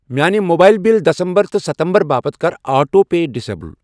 میانہِ mobile bill December تہٕ September باپتھ کَر آٹو پلے ڈسایبل۔